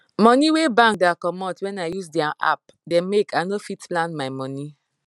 money wey bank da comot when i use dia app da make i no fit plan my money